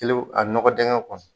Kelenw a nɔgɔdingɛ kɔnɔ